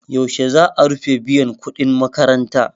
Yaushe za a rufe biyan kuɗin makaranta?